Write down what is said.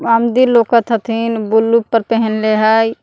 आमदी लौकत हथिन ब्लू पर पहेनले है।